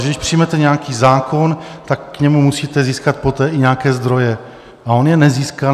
A když přijmete nějaký zákon, tak k němu musíte získat poté i nějaké zdroje, a on je nezískal.